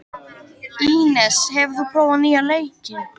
Ínes, hefur þú prófað nýja leikinn?